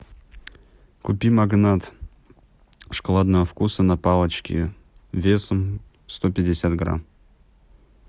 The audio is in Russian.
купи магнат шоколадного вкуса на палочке весом сто пятьдесят грамм